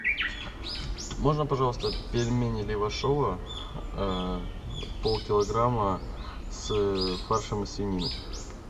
можно пожалуйста пельмени левашово полкилограмма с фаршем из свинины